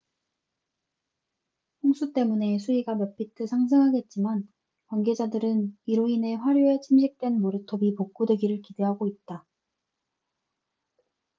홍수때문에 수위가 몇 피트 상승하겠지만 관계자들은 이로 인해 하류에 침식된 모래톱이 복구되기를 기대하고 있다